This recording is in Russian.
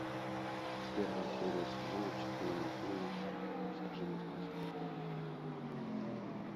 первая серия сезона четыре мультфильма расскажи мне сказку